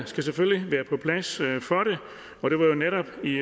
skal selvfølgelig være på plads og det var netop i